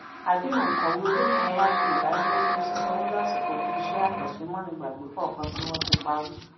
àdéhùn òǹkọwé olómìnira sé ìdánilójú sìsanwó lásìkò fún iṣẹ àkànṣe mánigbàgbé kọọkan tí wọn tí parí